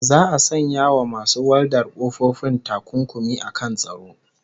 Za'a sanya wa masu waldar ƙofofi takunkumi akan tsaro